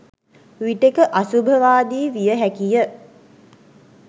විටෙක අසුභවාදී විය හැකිය.